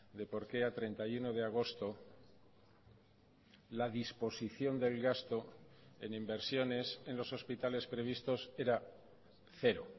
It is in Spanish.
de porqué a treinta y uno de agosto la disposición del gasto en inversiones en los hospitales previstos era cero